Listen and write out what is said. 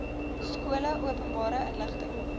skole openbare inligting